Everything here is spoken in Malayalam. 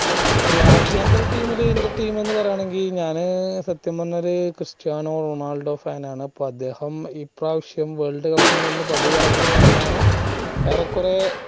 രാജ്യാന്തര team ഇൽ ഇൻറെ team എന്ന് പറയാണെങ്കി ഞാന് സത്യം പറഞ്ഞ ഒരു ക്രിസ്ത്യാനോ റൊണാൾഡോ fan അപ്പൊ അദ്ദേഹം ഇപ്രാവശ്യം world cup ഇൽ നിന്ന് പടിയേറങ്ങി എന്നാണ് ഏറെക്കൊറെ